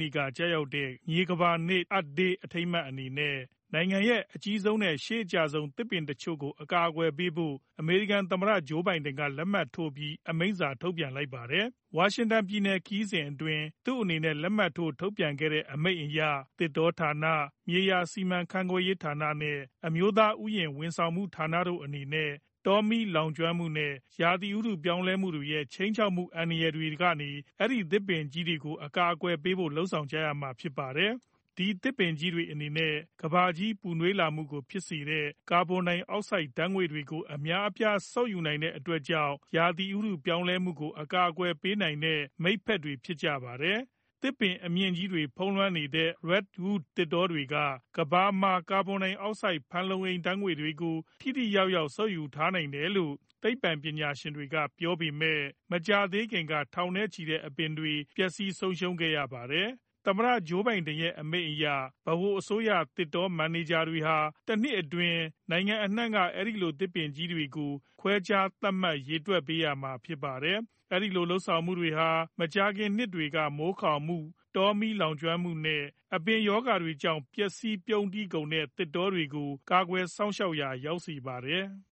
နေ့က ကျရောက်တဲ့ မြေကမ္ဘာနေ့ Earth Day အထိမ်းအမှတ်အနေနဲ့ နိုင်ငံရဲ့ အကြီးဆုံး နဲ့ ရှေးအကျဆုံး သစ်ပင်တချို့ကို အကာအကွယ်ပေးဖို့ အမေရိကန် သမ္မတ ဂျိုးဘိုင်ဒန် က လက်မှတ်ထိုးပြီး အမိန့်စာ ထုတ်ပြန်လိုက်ပါတယ်။ ဝါရှင်တန်ပြည်နယ် ခရီးစဉ်အတွင်း သူအနေနဲ့ လက်မှတ်ထိုးထုတ်ပြန်ခဲ့တဲ့ အမိန့်အရ သစ်တောဌာန၊ မြေယာစီမံခန့်ခွဲရေးဌာန နဲ့ အမျိုးသားဥယျာဉ် ဝန်ဆောင်မှုဌာနတို့အနေနဲ့ တောမီးလောင်ကျွမ်းမှု နဲ့ ရာသီဥတု့ပြောင်းလည်းမှုတွေရဲ့ ခြိမ်းခြောက်မှု အန္တရာယ် တွေကနေ အဲဒီ သစ်ပင်ကြီးတွေကို အကာအကွယ်ပေးဖို့ လုပ်ဆောင်ရမှာဖြစ်ပါတယ် ။ အဲဒီသစ်ပင်ကြီးတွေအနေနဲ့ ကမ္ဘာကြီးပူနွေးလာမှုကိုဖြစ်စေတဲ့ ကာဗွန်ဒိုင်အောက်ဆိုဒ်ဓါတ်ငွေ့တွေကို အများအပြား စုပ်ယူနိုင်တဲ့အတွက်ကြောင့် ဥတုရာသီ ပြောင်းလည်းမှုကို အကာအကွယ်ပေးနိုင်တဲ့ မိတ်ဘက် တွေဖြစ်ပါတယ်။ သစ်ပင်အမြင့်ကြီးတွေဖုံးလွှမ်းနေတဲ့ Redwood သစ်တောတွေက ကမ္ဘာမှာ ကာဗွန်ဒိုင်အောက်ဆိုဒ် ဖန်လုံဓါတ်ငွေ့ကို ထိထိရောက်ရောက် စုပ်ယူထားနိုင်တယ်လို့ နိုင်တယ်လို့ သိပ္ပွံပညာရှင်တွေက ပြောကြားနေပေမယ့် မကြာသေးခင်ကပဲ ထောင်နဲ့ ချီတဲ့ အပင်တွေ ပျက်စီးဆုံးရှုံးခဲ့ရတာ ဖြစ်ပါတယ်။ သမ္မတဂျိုဘိုင်ဒန် ရဲ့ အမိန့်အရ ဗဟိုအစိုးရ သစ်တော မန်နေဂျာတွေဟာ တနှစ်အတွင်း နိုင်ငံအနှံက အဲဒီလို သစ်ပင်ကြီးတွေကို ခွဲခြား သတ်မှတ် ရေတွက် ပေးရမှာဖြစ်ပါတယ်။ အဲဒီလိုလုပ်ဆောင်မှုဟာ မကြာခင်နှစ်တွေက မိုးခေါင်မှု၊ တောမီးလောင်မှု နဲ့ အပင်ရောဂါတွေကြောင့် ပျက်စီးပြုန်းတီးကုန်တဲ့ သစ်တောတွေကို ကာကွယ်စောင့်ရှောက်မှုရာ ရောက်စေပါတယ်။